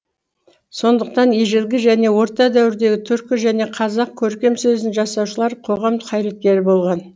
сондықтан ежелгі және орта дәуірдегі түркі және қазақ көркем сөзін жасаушылар қоғам қайраткері болған